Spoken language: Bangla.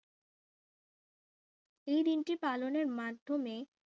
এই দিনটি পালনের মাধ্যমে